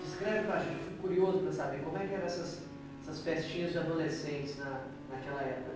Descreve para a gente, eu fico curioso para saber, como é que eram essas essas festinhas de adolescentes naquela época?